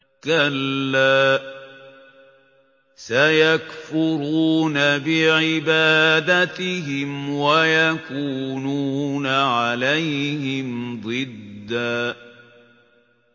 كَلَّا ۚ سَيَكْفُرُونَ بِعِبَادَتِهِمْ وَيَكُونُونَ عَلَيْهِمْ ضِدًّا